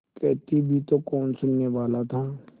कहती भी तो कौन सुनने वाला था